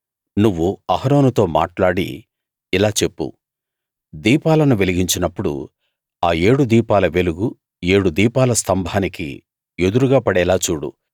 నువ్వు అహరోనుతో మాట్లాడి ఇలా చెప్పు దీపాలను వెలిగించినప్పుడు ఆ ఏడు దీపాల వెలుగు ఏడు దీపాల స్తంభానికి ఎదురుగా పడేలా చూడు